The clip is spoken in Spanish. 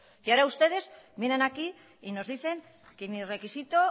y ahora ustedes vienen aquí y nos dicen que ni requisito